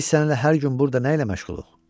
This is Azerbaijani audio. Biz səninlə hər gün burda nə ilə məşğuluq?